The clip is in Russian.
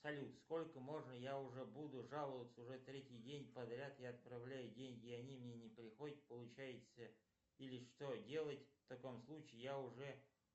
салют сколько можно я уже буду жаловаться уже третий день подряд я отправляю деньги они мне не приходят получается или что делать в таком случае я уже